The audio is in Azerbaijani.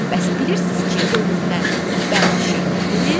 Bəs bilirsiz ki, ölümdən bərk şey nədir?